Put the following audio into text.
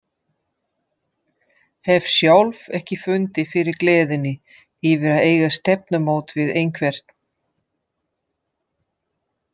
Hef sjálf ekki fundið fyrir gleðinni yfir að eiga stefnumót við einhvern.